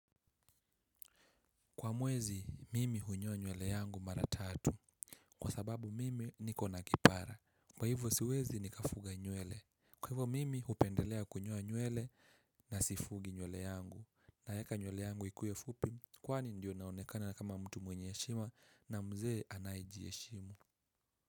Kwa mwezi, mimi hunyoa nywele yangu mara tatu. Kwa sababu mimi niko na kipara. Kwa hivyo siwezi nikafuga nywele. Kwa hivyo mimi hupendelea kunyoa nywele na sifugi nywele yangu. Naeka nywele yangu ikuwe fupi, kwani ndiyo naonekana kama mtu mwenye heshima na mzee anayejiheshimu.